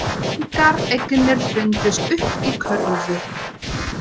Engar eignir fundust upp í kröfur